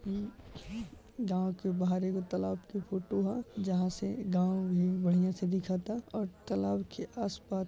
इ गांव के बाहर एगो तालाब के फोटो ह जहां से गांव भी बढ़िया से दिखता और तालाब के आसपास --